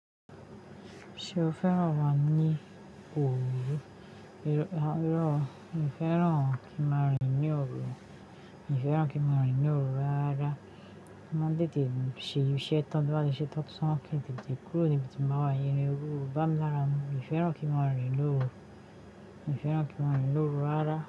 Ṣé o fẹ́ran máa ní òru? Rárá, mi ò fẹ́ran kí máa rìn ní òru. Mi ò fẹ́ran kí máa rìn ní òru rárá. Mo maa n tètè ṣe iṣẹ́ tán tó bá ṣe tán tó san wá kí n tètè kúrò níbi tí mo wà yẹn. Irin òru o bá mi lára mú. Mi ò fẹ́ran kí n máa rìn lóru. Mi ò fẹ́ran kí máa rìn lóru rárá.